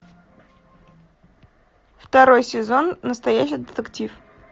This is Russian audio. второй сезон настоящий детектив